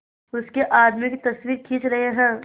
उसके आदमियों की तस्वीरें खींच रहे हैं